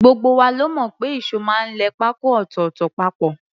Gbogbo wa la mọ̀ pé ìṣó máa ń lẹ pákó ọ̀tọ̀ọ̀tọ̀ papọ̀